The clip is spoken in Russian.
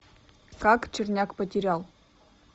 как черняк потерял